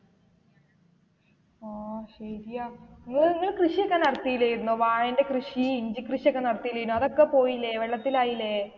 ഓ ശെരിയാ ഇങ്ങഇങ്ങള് കൃഷി ഒക്കെ നടത്തില്ലെർന്നോ വാഴ കൃഷി ഇഞ്ചി കൃഷി ഒക്കെ നടത്തില്ലെർന്നോ അതൊക്കെ പോയില്ലേ വെള്ളത്തിലായില്ലേ.